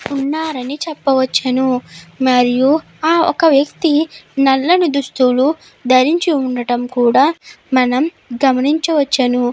ఉన్నారని చెప్పవచ్చును మరియు ఒక వ్యక్తి నల్లని దుస్తులు ధరించు ఉండడం కూడా మనం గమనించవచ్చును.